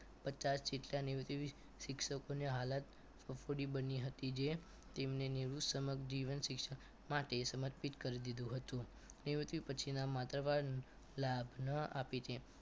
પચાસ શિક્ષક નિવૃત્ત શિક્ષકોને હાલત ફફુડી બની હતી જે તેમને નિવૃત્ત સમક્ષ જીવન શિક્ષણ માટે સમર્પિત કરી દીધું હતું નિવૃત્તિ પછીના માથા ભારે લાભ ન આપે જે